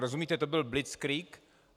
Rozumíte, to byl blitzkrieg!